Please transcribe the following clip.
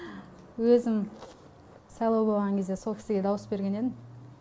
өзім сайлау болған кезде сол кісіге дауыс берген едім